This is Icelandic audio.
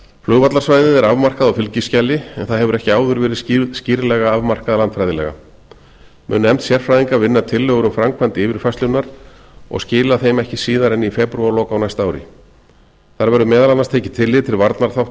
flugvallarsvæðið er afmarkað á fylgiskjali en það hefur ekki áður verið skýrlega verið afmarkað landfræðilega mun nefnd sérfræðinga vinna tillögur um framkvæmd yfirfærslunnar og skila þeim ekki síðar en í febrúarlok á næsta ári þar verður meðal annars tekið tillit til